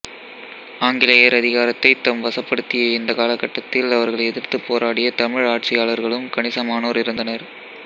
ஆங்கிலேயர் அதிகாரத்தைத் தம் வசப்படுத்திய இந்தக் காலகட்டத்தில் அவர்களை எதிர்த்துப் போராடிய தமிழ் ஆட்சியாளர்களும் கணிசமானோர் இருந்தனர்